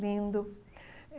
Lindo.